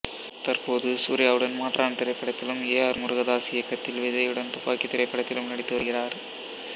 தற்போது சூர்யாவுடன் மாற்றான் திரைப்படத்திலும் ஏ ஆர் முருகதாஸ் இயக்கத்தில் விஜய்யுடன் துப்பாக்கி திரைப்படத்திலும் நடித்து வருகிறார்